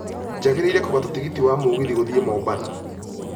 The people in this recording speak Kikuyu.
njagĩrĩire kũgata tigiti wa mũgithi gũthiĩ mombatha